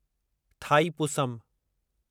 Thaipusam